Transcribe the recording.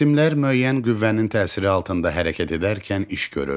Cisimlər müəyyən qüvvənin təsiri altında hərəkət edərkən iş görür.